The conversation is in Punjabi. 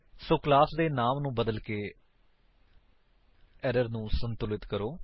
ਸੋ ਕਲਾਸ ਦੇ ਨਾਮ ਨੂੰ ਬਦਲਕੇ ਏਰਰ ਨੂੰ ਸੰਤੁਲਿਤ ਕਰੋ